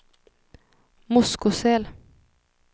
Moskosel